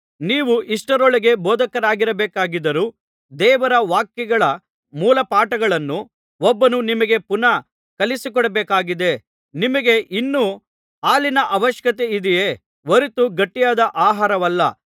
ನೀವು ಇಷ್ಟರೊಳಗೆ ಬೋಧಕರಾಗಿರಬೇಕಾಗಿದ್ದರೂ ದೇವರ ವಾಕ್ಯಗಳ ಮೂಲಪಾಠಗಳನ್ನು ಒಬ್ಬನು ನಿಮಗೆ ಪುನಃ ಕಲಿಸಿಕೊಡಬೇಕಾಗಿದೆ ನಿಮಗೆ ಇನ್ನೂ ಹಾಲಿನ ಅವಶ್ಯಕತೆಯಿದೆಯೇ ಹೊರತು ಗಟ್ಟಿಯಾದ ಆಹಾರವಲ್ಲ